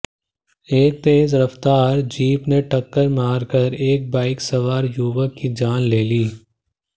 एक तेज रफ्तार जीप ने टक्कर मारकर एक बाइक सवार युवक की जान ले ली